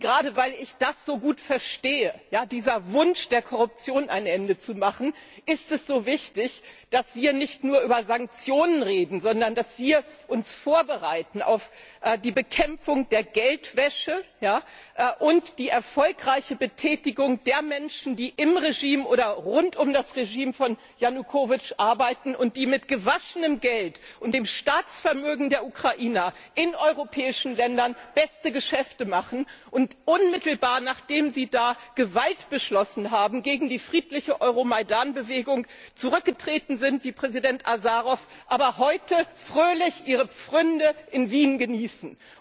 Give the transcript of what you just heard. Gerade weil ich das so gut verstehe diesen Wunsch, der Korruption ein Ende zu machen ist es so wichtig, dass wir nicht nur über Sanktionen reden, sondern dass wir uns vorbereiten auf die Bekämpfung der Geldwäsche und die erfolgreiche Betätigung der Menschen, die im oder rund um das Regime von Janukowytsch arbeiten und die mit gewaschenem Geld und dem Staatsvermögen der Ukrainer in europäischen Ländern beste Geschäfte machen und unmittelbar, nachdem sie Gewalt beschlossen haben gegen die friedliche Euromajdan Bewegung, zurückgetreten sind, wie Präsident Asarow, aber heute fröhlich ihre Pfründe in Wien genießen.